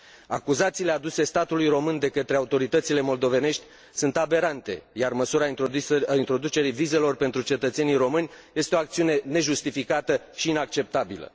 Acuzațiile aduse statului român de către autoritățile moldovenești sunt aberante, iar măsura introducerii vizelor pentru cetățenii români este o acțiune nejustificată și inacceptabilă.